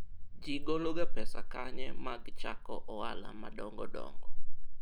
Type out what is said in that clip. watu hutao wapi pesa za kuanza biashara kubwa kubwa?